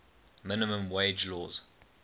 minimum wage laws